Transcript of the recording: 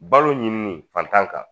Balo ɲininin fantan kan